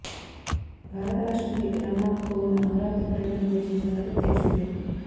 భారత రాష్ట్రపతి రామ్ నాథ్ కోవింద్ అమరావతి పర్యటనకు వచ్చిన సంగతి తెలిసిందే